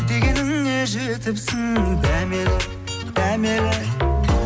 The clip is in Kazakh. дегеніңе жетіпсің дәмелі дәмелі